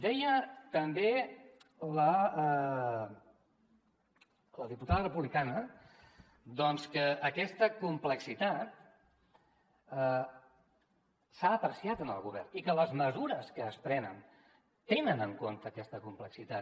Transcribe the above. deia també la diputada republicana doncs que aquesta complexitat s’ha apreciat en el govern i que les mesures que es prenen tenen en compte aquesta complexitat